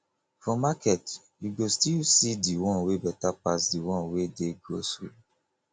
for market you go still see de one wey better pass de one wey dey grocery